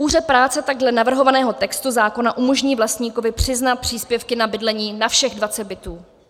Úřad práce takhle navrhovaného textu zákona umožní vlastníkovi přiznat příspěvky na bydlení na všech 20 bytů.